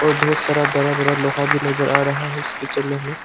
बहुत सारा बड़ा बड़ा लोहा भी नजर आ रहा है इस पिक्चर में हमें--